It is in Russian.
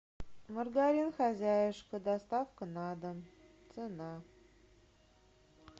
маргарин хозяюшка доставка на дом цена